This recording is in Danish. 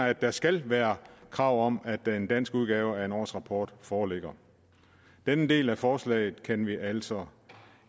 at der skal være krav om at den danske udgave af en årsrapport foreligger den del af forslaget kan vi altså